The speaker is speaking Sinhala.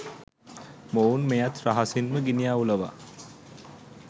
මොවුන් මෙයත් රහසින්ම ගිනි අවුලවා